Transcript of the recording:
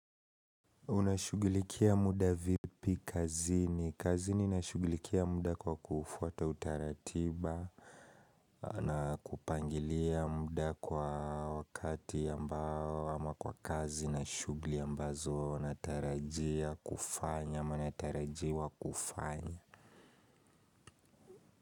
Unashugilikia muda vipi kazini? Kazini nashugilikia muda kwa kufuata utaratiba na kupangilia muda kwa wakati ambao ama kwa kazi na shugli ambazo natarajia kufanya ama natarajiwa kufanya.